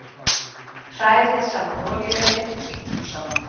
Hrærið saman olíunni og sítrónusafanum.